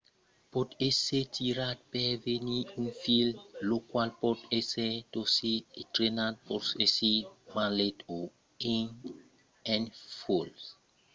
pòt èsser tirat per venir un fil fin lo qual pòt èsser torçut e trenat. pòt èsser martelat o enrotlat en fuèlhs